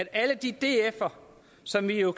alle de dfere som vi jo